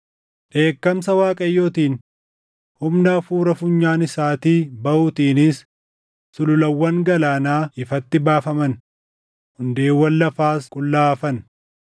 Dheekkamsa, Waaqayyootiin humna hafuura funyaan isaatii baʼuutiinis sululawwan galaanaa ifatti baafaman; hundeewwan lafaas qullaa hafan.